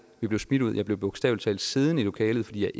vi blev smidt ud jeg blev bogstavelig talt siddende i lokalet fordi jeg